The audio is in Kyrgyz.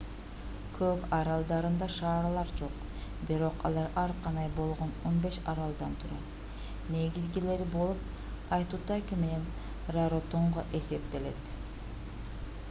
кук аралдарында шаарлар жок бирок алар ар кандай болгон 15 аралдан турат негизгилери болуп айтутаки менен раротонга эсептелет